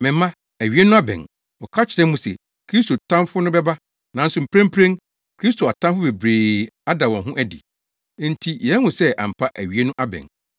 Me mma, awiei no abɛn. Wɔka kyerɛɛ mo se Kristo Tamfo no bɛba, nanso mprempren, Kristo atamfo bebree ada wɔn ho adi, enti yɛahu sɛ ampa awiei no abɛn.